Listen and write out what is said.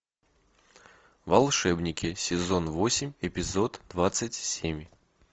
волшебники сезон восемь эпизод двадцать семь